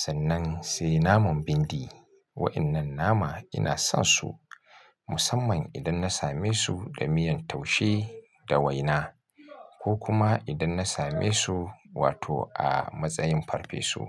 Sannan sai naman bindi. Wa'innan nama ina son su musamman idan na same su da miyan taushe da waina ko kuma idan na same su wato a matsayin farfesu.